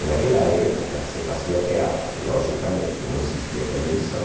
E naquela época se fazia teatro, logicamente, não existia televisão.